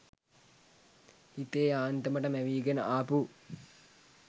හිතේ යාන්තමට මැවීගෙන ආපු